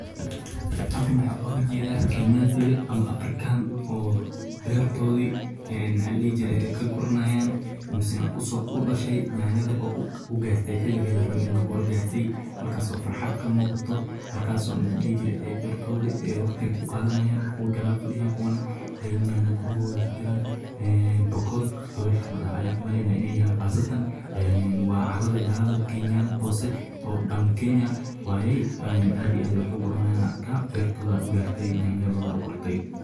Halkan waxaan uga jeedaa Kenyan-tiga ama Afrikaan-ka, gaar ahaan beertoodii ee ka guranyay ama u dhashay yanyada (yaanyada), kuwaas oo gartey xilliga laga rabay. Waxaa ka muuqata farxad, waxayna beertooda waqtigeeda ku qateen. Kuwa gadaal fadhiyaana waa kuwo yaanyo guray ku jiraan. Waxaa jirta Bukoot, qabiilka la yiraahdo, waxaan u maleynayaa inay yihiin qaasatan — waana carada Galada Hoose ee Down Kenya. Aad iyo aad ayay wax u gurayaan, waxaan arkaa beertooda ay garteen iyo yaanyadooda ay karteen.